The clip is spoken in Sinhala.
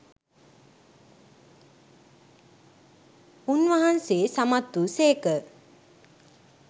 උන්වහන්සේ සමත් වූ සේක.